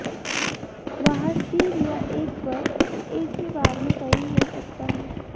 वहाँ सिर या एक पर एक ही बार में कई हो सकता है